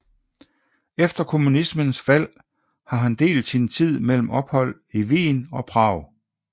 Efter kommunismens fald har han delt sin tid mellem ophold i Wien og Prag